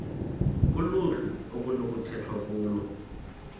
kuluhlu okunokukhethwa kulo